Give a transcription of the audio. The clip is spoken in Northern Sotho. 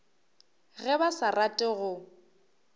ge ba sa rate go